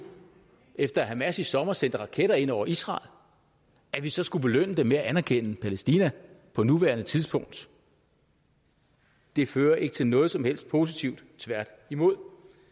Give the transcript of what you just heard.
efter at hamas i sommer sendte raketter ind over israel at vi så skulle belønne dem med at anerkende palæstina på nuværende tidspunkt det fører ikke til noget som helst positivt tværtimod